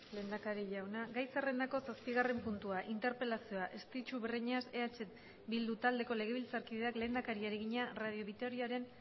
lehendakari jauna gai zerrendako zazpigarren puntua interpelazioa estitxu breñas eh bildu taldeko legebiltzarkideak lehendakariari egina radio vitoriaren